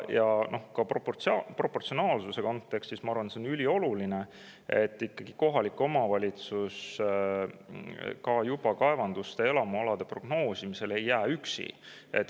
Ja ka proportsionaalsuse kontekstis on minu arvates ülioluline, et kohalik omavalitsus juba kaevanduste ja elamualade prognoosimisel ei jääks üksi.